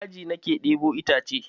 Daji na ke ɗebo itacen.